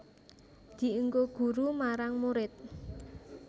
Dienggo guru marang murid